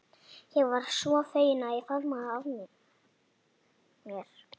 Ég varð svo fegin að ég faðmaði hana að mér.